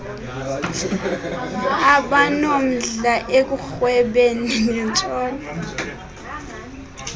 abanomdla ekurhwebeni nentshona